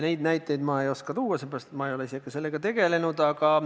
Neid näiteid ma ei oska tuua, sellepärast et ma ei ole ise sellega tegelenud.